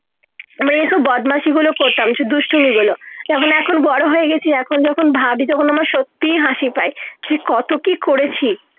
আমি এই বদমাশি গুলো করতাম দুষ্টুমি গুলো তেমন এখন বড় হয়ে গেছি এখন যখন ভাবি যখন আমার সত্যি হাসি পায় সে কত কি করেছি